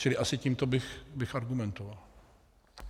Čili asi tímto bych argumentoval.